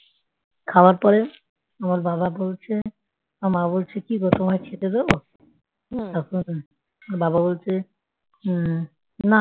খাবার পরে আমার বাবা বলছে আমার মা বলছে কি গো তোমায় খেতে দেব হুম তারপর বাবা বলছে হম না।